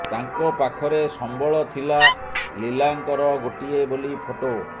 ତାଙ୍କ ପାଖରେ ସମ୍ବଳ ଥିଲା ଲିଲାଙ୍କର ଗୋଟିଏ ବୋଲି ଫଟୋ